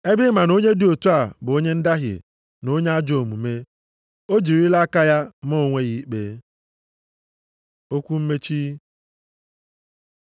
Ebe ị ma na onye dị otu a bụ onye ndahie na onye ajọọ omume, o jirila aka ya maa onwe ya ikpe. Okwu mmechi